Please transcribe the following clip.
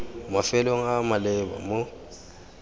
mafelong a a maleba mo